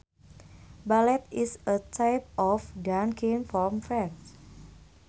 Ballet is a type of dancing from France